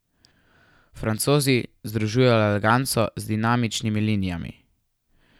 Francozi združujejo eleganco z dinamičnimi linijami ...